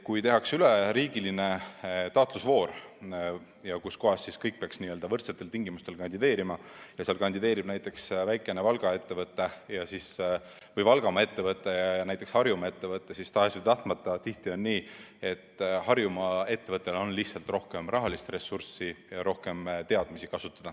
Kui tehakse üleriigiline taotlusvoor, milles kõik peaksid võrdsetel tingimustel kandideerima, ning kui seal kandideerib näiteks mõni Valgamaa ettevõte ja mõni Harjumaa ettevõte, siis tahes‑tahtmata on tihti nii, et Harjumaa ettevõttel on kasutada rohkem rahalist ressurssi ja rohkem teadmisi.